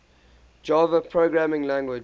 java programming language